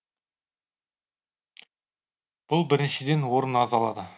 бұл біріншіден орын аз алады